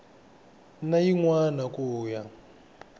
na yin wana ku ya